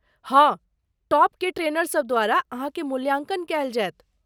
हाँ, टॉपकेँ ट्रेनर सभ द्वारा अहाँके मूल्यांकन कयल जायत।